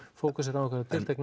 fókusa á einhverja tiltekna